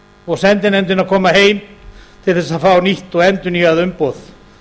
og sendinefndin að koma til til að fá nýtt og endurnýjað umboð